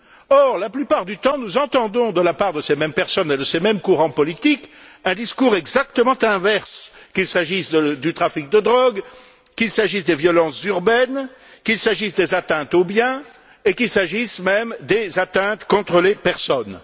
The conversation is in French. Or, la plupart du temps, nous entendons, de la part de ces mêmes personnes et de ces mêmes courants politiques, un discours exactement inverse qu'il s'agisse du trafic de drogue, qu'il s'agisse des violences urbaines, qu'il s'agisse des atteintes aux biens et qu'il s'agisse, même, des atteintes aux personnes.